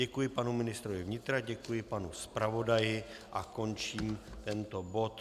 Děkuji panu ministrovi vnitra, děkuji panu zpravodaji a končím tento bod.